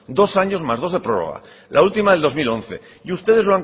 dos años más dos de prórroga la última del dos mil once y ustedes